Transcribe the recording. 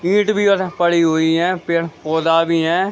ईट भी उर पड़ी हुई है पेड़-पौधा भी है।